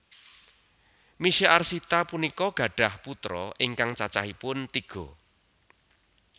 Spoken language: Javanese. Misye Arsita punika gadhah putra ingkang cacahipun tiga